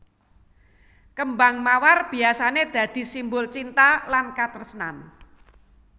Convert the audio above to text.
Kêmbang mawar biyasané dadi simbol cinta lan katresnan